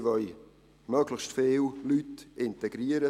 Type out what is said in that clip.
Sie wollen möglichst viele Leute integrieren.